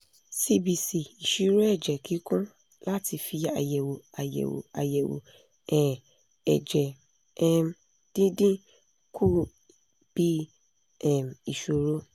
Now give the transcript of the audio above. cbc ìṣirò ẹ̀jẹ̀ kíkún láti fi àyẹ̀wò àyẹ̀wò àyẹ̀wò um ẹ̀jẹ̀ um dídín kù bí um ìṣòro